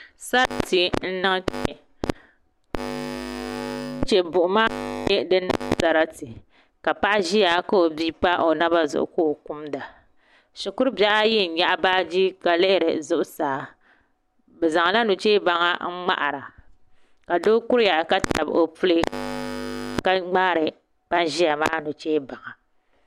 Sarati n niŋ kpɛ chɛchɛ buɣuma n nyɛ din niŋ sarati ka paɣa ʒiya ka o bia pa o naba zuɣu ka o kumda shikuru bihi ayi n nyaɣa baaji ka lihiri zuɣusaa bi zaŋla nuchɛ baŋ n ŋmaara ka so ʒiya ka tabi o puli ka ŋmaari ban ƶiya maa nuchɛ baŋa